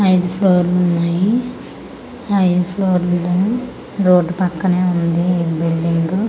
ఐదు ఫ్లోర్లు ఉన్నాయి ఐదు ఫోర్లులో రోడ్డు పక్కనే ఉంది ఈ బిల్డింగు --